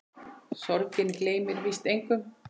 Sorgin gleymir víst engum.